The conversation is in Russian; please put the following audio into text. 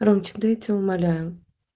ромчик да я тебя умоляю